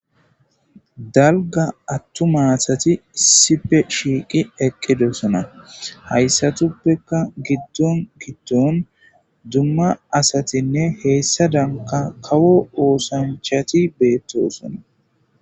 Dalga attu maasati issipe shiiqi eqqidoosona hayssatuppeka giddon giddon dumma asatinne heessa danka kawo oosanchati beettosona.